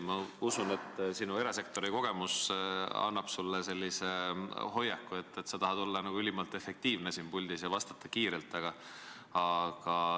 Ma usun, et tänu erasektori kogemusele on sul selline hoiak, et sa tahad siin puldis ülimalt efektiivne olla ja vastata kiirelt.